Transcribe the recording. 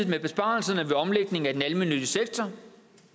med besparelserne ved omlægningen af den almennyttige sektor